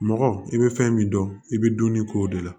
Mɔgɔ i bɛ fɛn min dɔn i bɛ dumuni k'o de la